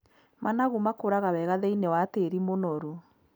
Managu makũraga wega thĩiniĩ wa tĩĩri mũnoru.